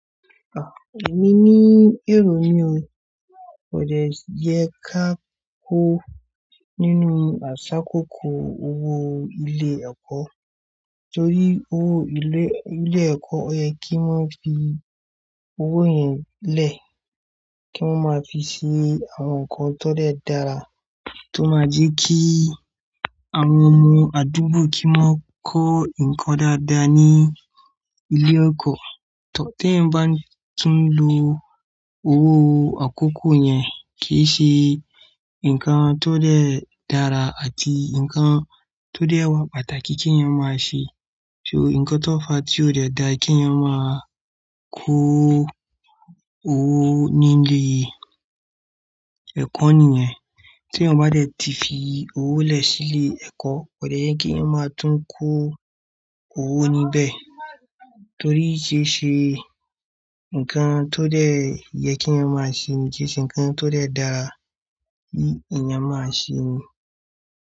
À, èmi ní èrò mí ò, kò dẹ yẹ ká kó nínú àṣà kókó owó ilé ẹ̀kọ́. Torí owó ilé, ilé ẹ̀kọ́ o yẹ kí wọ́n fi owó yẹn lẹ ki won máa fi sí àwọn nkan tó dẹ dára tó máa jẹ́ kí àwọn ọmọ àdúgbò kí wọ́n kọ́ nǹkan dáadáa ní ilé ẹ̀kọ́. Tó ti eeyań bá tún lo owó àkókò yẹn kì í ṣe nǹkan tó dẹ́ dára àti nǹkan tó dẹ wa pàtàkì kí eeyan máa ṣe. So nǹkan tó fa tí ò dẹ da kí ẹ máa kó owó nílé ẹ̀kọ́ nìyẹn. Tí eeyan bá dé tí fi owó lè sílé ẹ̀kọ́, kò dẹ yẹ kí ẹ máa tún kó owó níbẹ̀. Torí kì í ṣe nǹkan tó dẹ yẹ kí eeyan máa ṣe, kì í ṣe nǹkan tó dẹ dára tí èèyàn máa ṣe.